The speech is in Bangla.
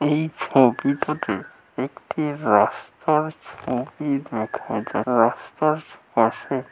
এই ছবিটিতে একটি রাস্তার ছবি দেখা রাস্তার পাশে--